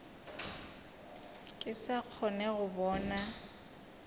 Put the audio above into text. ke sa kgone go bona